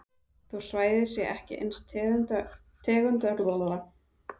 Þó svæðið sé ekki eins tegundaauðugt og regnskógarnir þá er dýralífið engu að síður fjölbreytt.